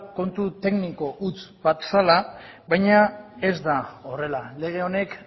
kontu tekniko huts bat zela baina ez da horrela lege honek